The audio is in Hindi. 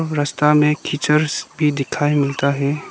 रास्ता में कीचड़स भी दिखाई मिलता है।